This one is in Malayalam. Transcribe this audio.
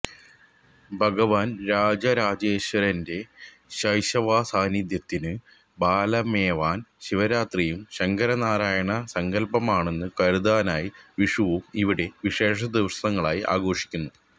ഭഗവാൻ രാജരാജേശ്വരന്റെ ശൈവസാന്നിധ്യത്തിനു ബലമേവാൻ ശിവരാത്രിയും ശങ്കരനാരായണ സങ്കല്പമാണന്നു കരുതാനായി വിഷുവും ഇവിടെ വിശേഷദിവസങ്ങളായി ആഘോഷിക്കുന്നു